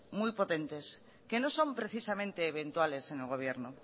muy potentes que no son precisamente eventuales en el gobierno